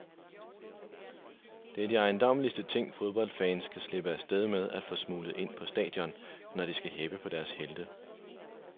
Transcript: Det er de ejendommeligste ting, fodboldfans kan slippe af sted med at få smuglet ind på stadion, når de skal heppe på deres helte.